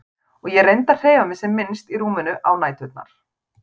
Og ég reyndi að hreyfa mig sem minnst í rúminu á næturnar.